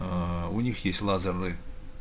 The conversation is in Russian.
аа у них есть лазерный